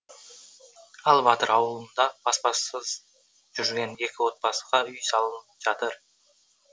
ал батыр ауылында баспасыз жүрген екі отбасыға үй салынып жатыр